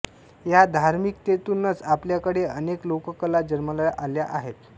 या धार्मिकतेतूनचं आपल्याकडे अनेक लोककला जन्माला आल्या आहेत